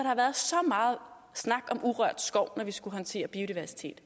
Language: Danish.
har været så meget snak om urørt skov når vi skulle håndtere biodiversitet